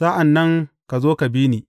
Sa’an nan ka zo, ka bi ni.